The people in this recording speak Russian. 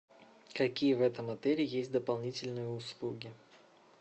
какие в этом отеле есть дополнительные услуги